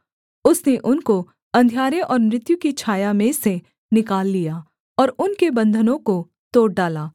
उसने उनको अंधियारे और मृत्यु की छाया में से निकाल लिया और उनके बन्धनों को तोड़ डाला